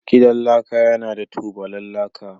Gidan laka yana da tubalan laka